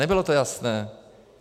Nebylo to jasné.